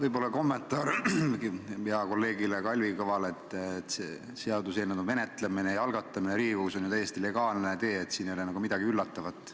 Võib-olla kommentaar heale kolleegile Kalvi Kõvale: seaduseelnõu menetlemine ja algatamine Riigikogus on ju täiesti legaalne tee, siin ei ole midagi üllatavat.